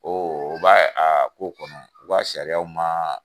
u b'a a ko kɔnɔ, u ka sariya ma.